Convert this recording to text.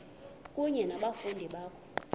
kunye nabafundi bakho